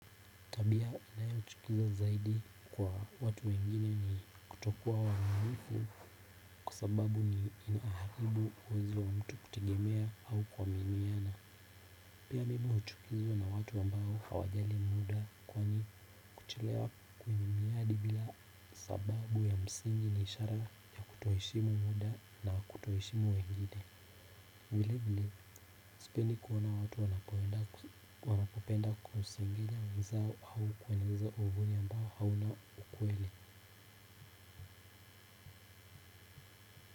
Tabia inayo nichukiza zaidi kwa watu wengine ni kutokuwa waminifu kwa sababu ni inaharibu uwezo wa mtu kutegemea au kuaminiana. Pia mimi huchukizwa na watu ambao hawajali muda kwani kuchelewa kwenye miadi bila sababu ya msingi ni ishara ya kutoheshimu muda na kutoheshimu wengine. Vile vile sipendi kuona watu wanapoenda wanapopenda kusengenya wenzao au kueneza uhuni ambao hauna ukweli.